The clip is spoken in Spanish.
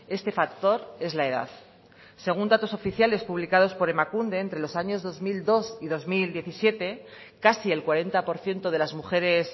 este factor es la edad según datos oficiales publicados por emakunde entre los años dos mil dos y dos mil diecisiete casi el cuarenta por ciento de las mujeres